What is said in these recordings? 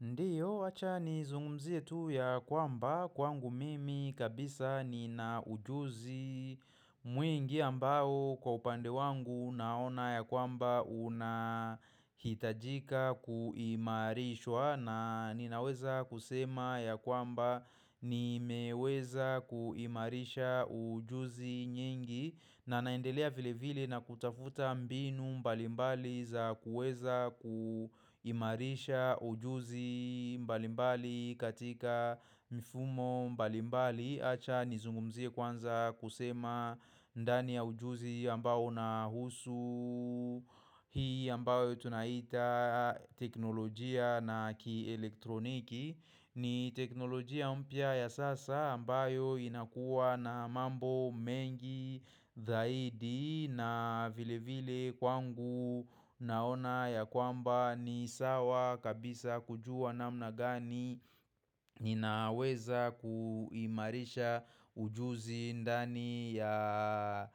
Ndio, wacha ni zungumzie tu ya kwamba kwangu mimi kabisa ni na ujuzi mwingi ambao kwa upande wangu naona ya kwamba unahitajika kuimarishwa na ninaweza kusema ya kwamba ni meweza kuimarisha ujuzi nyingi na naendelea vile vile na kutafuta mbinu mbalimbali za kuweza kuimarisha ujuzi mbalimbali katika mfumo mbalimbali Acha nizungumzie kwanza kusema ndani ya ujuzi ambayo na husu Hii ambayo tunaita teknolojia na ki elektroniki ni teknolojia mpya ya sasa ambayo inakuwa na mambo mengi zaidi na vile vile kwangu naona ya kwamba ni sawa kabisa kujua namna gani Ninaweza kuimarisha ujuzi ndani ya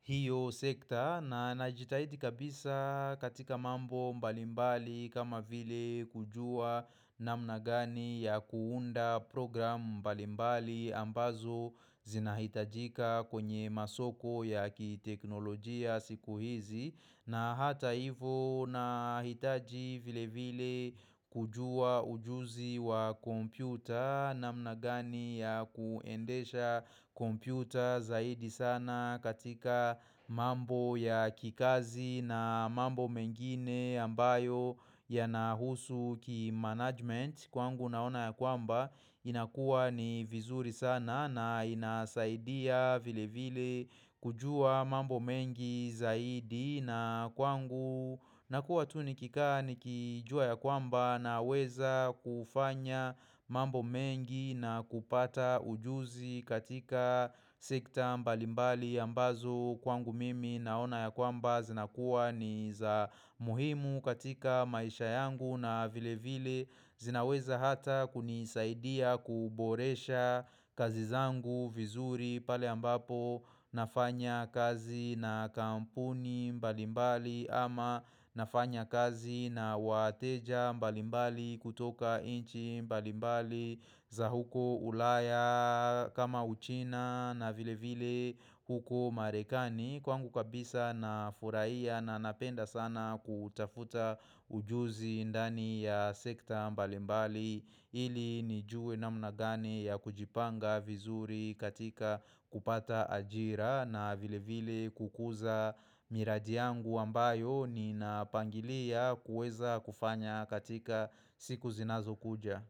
hiyo sekta na najitahidi kabisa katika mambo mbalimbali kama vile kujua na mnagani ya kuunda program mbalimbali ambazo zinahitajika kwenye masoko ya kiteknolojia siku hizi na hata hivo na hitaji vile vile kujua ujuzi wa kompyuta na mnagani ya kuendesha kompyuta zaidi sana katika mambo ya kikazi na mambo mengine ambayo ya nahusu ki management. Kwangu naona ya kwamba inakuwa ni vizuri sana na inasaidia vile vile kujua mambo mengi zaidi na kwangu na kuwa tunikikaa ni kijua ya kwamba na weza kufanya mambo mengi na kupata ujuzi katika sekta mbalimbali ambazo kwangu mimi naona ya kwamba zinakuwa ni za muhimu katika maisha yangu na vile vile zinaweza hata kunisaidia kuboresha kazizangu vizuri pale ambapo nafanya kazi na kampuni mbalimbali ama nafanya kazi na wateja mbalimbali kutoka inchi mbalimbali za huko ulaya kama uchina na vile vile huko marekani Kwangu kabisa na furahia na napenda sana kutafuta ujuzi ndani ya sekta mbalimbali ili nijue namnagane ya kujipanga vizuri katika kupata ajira na vile vile kukuza miradi yangu ambayo ni napangilia kuweza kufanya katika siku zinazo kuja.